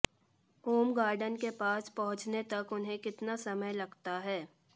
ओम garden के पास पहुंचने तक उन्हें कितना समय लगता है